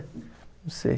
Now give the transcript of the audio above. Não sei.